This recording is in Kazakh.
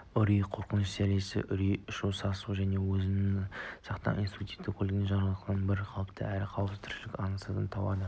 үрей қорқыныш зәресі үрейі ұшу сасу өзін-өзі сақтау инстинктінің көлеңкелі жақтарынан бір қалыпты әрі қауіпсіз тіршілікті аңсаудан туады